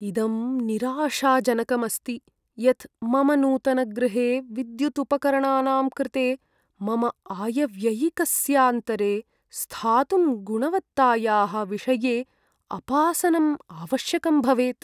इदं निराशाजनकम् अस्ति यत् मम नूतनगृहे विद्युदुपकरणानां कृते मम आयव्ययिकस्यान्तरे स्थातुं गुणवत्तायाः विषये अपासनं आवश्यकं भवेत्।